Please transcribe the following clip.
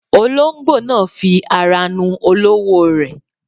Olóńgbò náà fi ara nu olówó rẹ̀.